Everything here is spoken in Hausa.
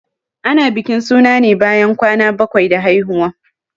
Ana bikin suna ne bayan kwana bakwai da haihuwa.